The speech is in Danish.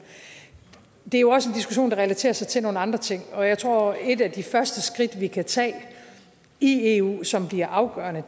det er jo også en diskussion der relaterer sig til nogle andre ting og jeg tror at et af de første skridt vi kan tage i eu som bliver afgørende